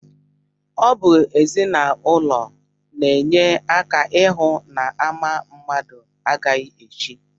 Ọ bụ ezinụlọ na-enye aka ịhụ na ama mmadụ agaghị echi